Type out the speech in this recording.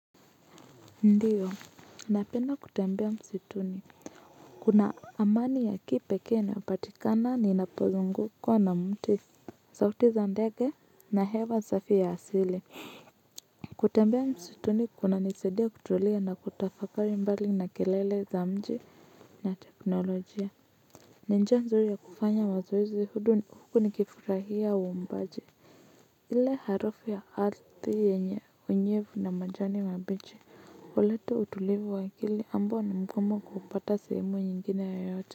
Ndiyo, napenda kutembea msituni. Kuna amani ya kipekee inayopatikana ninapozungukwa na miti. Sauti za ndege na hewa safi ya asili kutembea msituni kunanisaidia kutulia na kutafakari mbali na kelele za mji na teknolojia. Ni njia nzuri ya kufanya mazoezi huku nikifurahia waombaji. Ile harufu ya ardhi yenye unyevu na majani mabichi uleta utulivu wa akili ambao ni mgumu kupata sehemu nyingine yoyote.